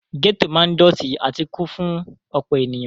Gẹ́tò ma ń dọ̀tí àti kún fún ọ̀pọ̀ ènìyàn.